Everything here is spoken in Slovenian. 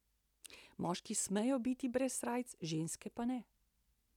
Moški smejo biti brez srajce, ženske pa ne.